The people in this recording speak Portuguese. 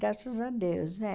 Graças a Deus, né?